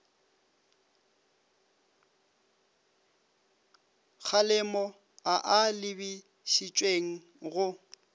kgalemo a a lebišitšweng go